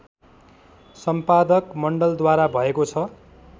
सम्पादक मण्डलद्वारा भएको छ